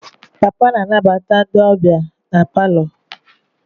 Papa na-anabata ndị ọbịa na palọ.